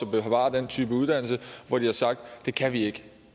at bevare den type uddannelse og hvor de har sagt det kan vi ikke